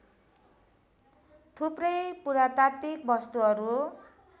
थुप्रै पुरातात्विक वस्तुहरू